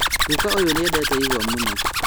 Guka ũyũ nĩendete igwa mũno